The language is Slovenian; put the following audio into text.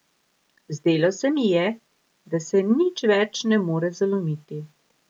Zdelo se mi je, da se nič več ne more zalomiti.